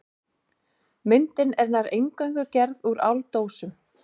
Myndin er nær eingöngu gerð úr áldósum.